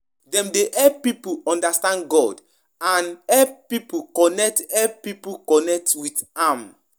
Dem de give hope de give hope to pipo wey de go through though time